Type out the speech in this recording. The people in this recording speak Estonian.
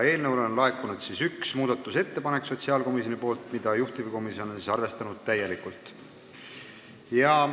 Eelnõu kohta on laekunud üks muudatusettepanek sotsiaalkomisjonilt, mida juhtivkomisjon on arvestanud täielikult.